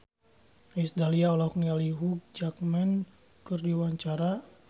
Iis Dahlia olohok ningali Hugh Jackman keur diwawancara